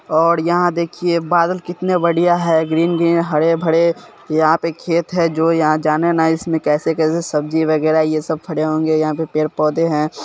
--और यहाँ देखिये बादल कितने बढ़िया है ग्रीन ग्रीन हरे-भरे यहाँ पे खेत है जो यहाँ जाना न इसमें कैसे-कैसे सब्जी वगेरा ये सब फड़े होंगे यहाँ पे पेड़-पौधे है।